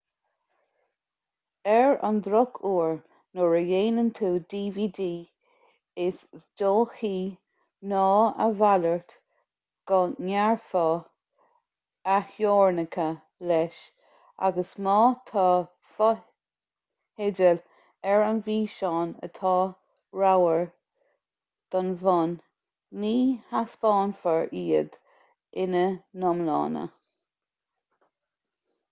ar an drochuair nuair a dhéanann tú dvd is dóichí ná a mhalairt go ngearrfar a theorainneacha leis agus má tá fotheidil ar an bhfíseán atá róghar don bhun ní thaispeánfar iad ina n-iomláine